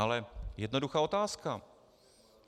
Ale jednoduchá otázka.